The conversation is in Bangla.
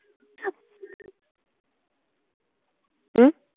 হউ